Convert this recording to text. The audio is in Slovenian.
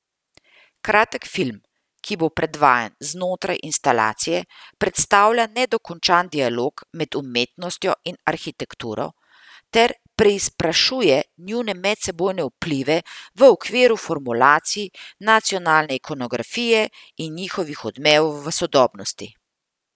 Kratek film, ki bo predvajan znotraj instalacije, predstavlja nedokončan dialog med umetnostjo in arhitekturo ter preizprašuje njune medsebojne vplive v okviru formulacij nacionalne ikonografije in njihovih odmevov v sodobnosti.